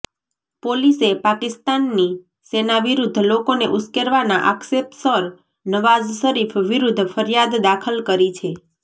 પોલીસે પાકિસ્તાનની સેના વિરુદ્ધ લોકોને ઉશ્કેરવાના આક્ષેપસર નવાઝ શરીફ વિરુદ્ધ ફરિયાદ દાખલ કરી છે